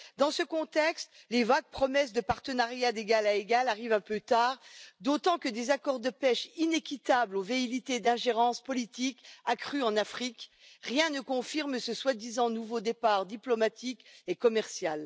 Dans ce contexte, les vagues promesses de partenariat d'égal à égal arrivent un peu tard, d'autant que, des accords de pêche inéquitables aux velléités d'ingérence politique accrue en Afrique, rien ne confirme ce soi disant nouveau départ diplomatique et commercial.